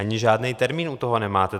Ani žádný termín u toho nemáte.